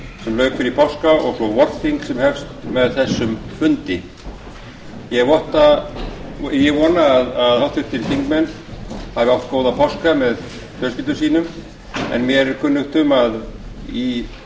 sem lauk fyrir páska og svo vorþing sem hefst með þessum fundi ég vona að háttvirtir þingmenn hafi átt góða páska með fjölskyldum sínum en mér er kunnugt um að í